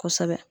Kosɛbɛ